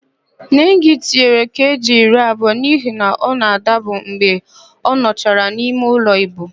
Nengị tinyere keeji iri abụọ n'íhé ọ na-adabu mgbe ọ nọchara n'imeụlọ íbù.